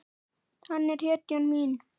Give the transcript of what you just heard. Hann er hetjan mín.